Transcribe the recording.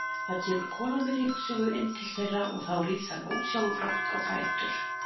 Það kemur kona með ryksugu inn til þeirra og þá rís hann ósjálfrátt á fætur.